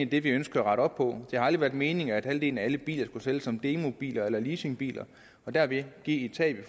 det vi ønsker at rette op på det har aldrig været meningen at halvdelen af alle biler skulle sælges som demobiler eller leasingbiler og dermed give et tab i